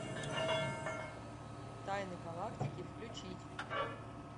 тайны галактики включить